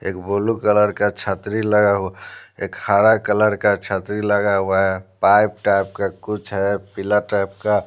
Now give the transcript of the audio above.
एक blue colour का छतरी लगा हुआ एक हरा कलर का छतरी लगा हुआ है पाइप टाइप का कुछ है पीला टाइप का--